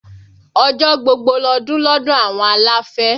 Ọjọ́ gbogbo lọdún lọ́dọ̀ àwọn aláfẹ́